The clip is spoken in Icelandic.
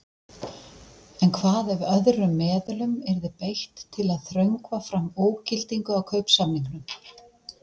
En hvað ef öðrum meðulum yrði beitt til að þröngva fram ógildingu á kaupsamningnum?